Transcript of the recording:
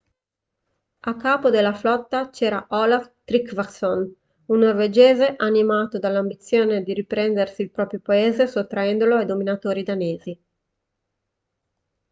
a capo della flotta c'era olaf trygvasson un norvegese animato dall'ambizione di riprendersi il proprio paese sottraendolo ai dominatori danesi